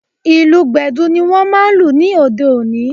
Ìlù Gbẹ̀du ni wọ́n máa lù ní òde òní